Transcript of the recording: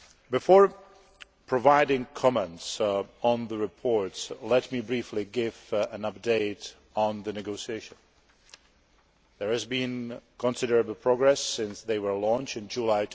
Before providing comments on the reports, let me briefly give an update on the negotiations. There has been considerable progress since they were launched in July